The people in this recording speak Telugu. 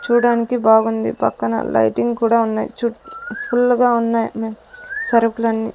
చూడనికి బాగుంది పక్కన లైటింగ్ కూడా ఉన్నాయి చుట్టూ ఫుల్ గా ఉన్నాయి సరుకులని.